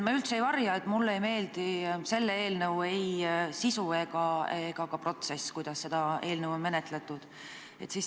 Ma üldse ei varja, et mulle ei meeldi selle eelnõu puhul ei selle sisu ega ka menetlemise protsess.